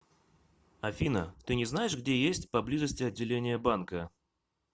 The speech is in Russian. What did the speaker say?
афина ты не знаешь где есть поблизости отделение банка